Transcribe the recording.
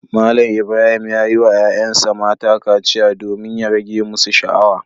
Malam Ibrahim ya yi wa ‘ƴa’ƴansa mata kaciya domin ya rage musu sha’awa.